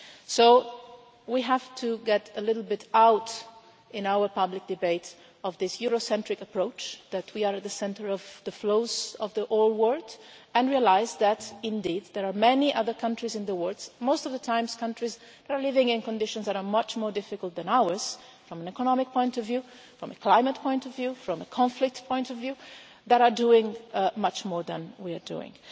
So we have to get a little bit out, in our public debate, of this Eurocentric approach that we are at the centre of the flows of the whole world, and realise that indeed there are many other countries in the world, most of the time countries that are living in conditions that are much more difficult than ours from an economic point of view, from a climate point of view, from a conflict point of view, that are doing much more than we are doing.